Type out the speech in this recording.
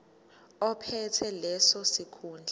ophethe leso sikhundla